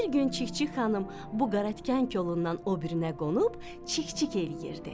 Bir gün Çik-çik xanım bu qaratikan kolundan o birinə qonub çik-çik eləyirdi.